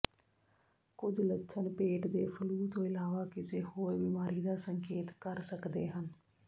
ਕੁਝ ਲੱਛਣ ਪੇਟ ਦੇ ਫਲੂ ਤੋਂ ਇਲਾਵਾ ਕਿਸੇ ਹੋਰ ਬਿਮਾਰੀ ਦਾ ਸੰਕੇਤ ਕਰ ਸਕਦੇ ਹਨ